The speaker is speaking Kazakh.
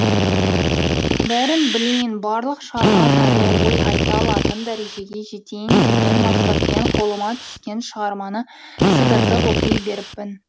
бәрін білейін барлық шығарма жайлы ой айта алатын дәрежеге жетейін деген мақсатпен қолыма түскен шығарманы сыдыртып оқи беріппін